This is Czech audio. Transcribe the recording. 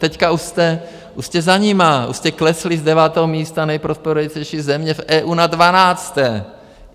Teď už jste za nimi, už jste klesli z devátého místa nejprosperutější země v EU na dvanácté.